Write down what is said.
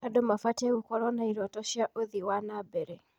Andũ mabatiĩ gũkorwo na irooto cia ũthii wa na mbere.